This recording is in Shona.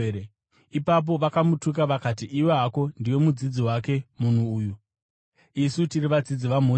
Ipapo vakamutuka vakati, “Iwe hako ndiwe mudzidzi wake munhu uyu! Isu tiri vadzidzi vaMozisi!